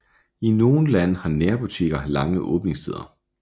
I nogle lande har nærbutikker lange åbningstider